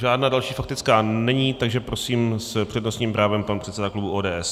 Žádná další faktická není, takže prosím, s přednostním právem pan předseda klubu ODS.